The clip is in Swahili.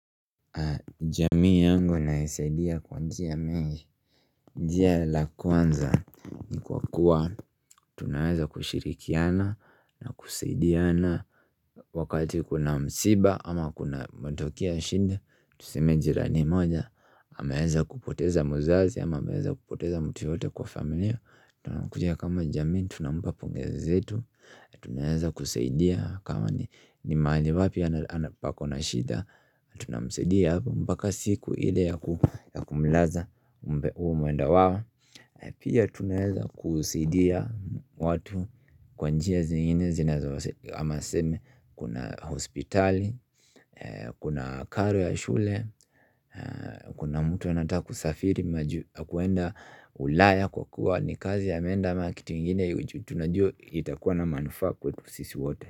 Jamii yangu naisaidia kwa njia mengi njia la kwanza ni kwa kuwa tunaweza kushirikiana na kusaidiana Wakati kuna msiba ama kuna matokeo ya shinda Tuseme jirani moja amaweza kupoteza muzazi ama amaweza kupoteza mtu yoyote kwa familia Tunakuja kama jamii, tunampa pongezi zetu Tunaeza kusaidia kama ni mahali wapi pako na shida Tunamsaidia mpaka siku ile ya kumlaza huo mwenda wao Pia tunaeza kusaidia watu kwa njia zingine na hamaseme Kuna hospitali, kuna karo ya shule Kuna mtu anata kusafiri majuu na kuenda ulaya kwa kuwa ni kazi ameenda ama kitu ingine tunajuwa kitakuwa na manufaa kwetu sisi wote.